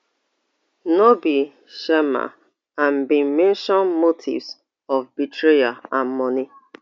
no be sharma and bin mention motives of betrayal and money